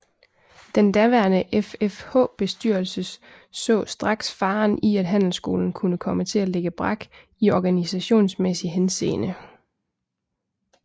Den daværende FFH bestyrelses så straks faren i at handelsskolen kunne komme til at ligge brak i organisationsmæssig henseende